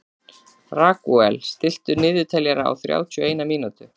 Ragúel, stilltu niðurteljara á þrjátíu og eina mínútur.